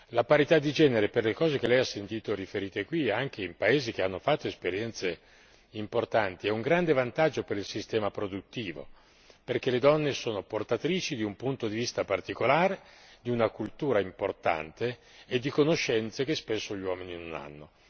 La parità di genere per le cose che Lei ha sentito riferite qui e anche in paesi che hanno fatto esperienze importanti, è un grande vantaggio per il sistema produttivo, perché le donne sono portatrici di un punto di vista particolare, di una cultura importante e di conoscenze che spesso gli uomini non hanno.